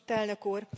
Elnök úr!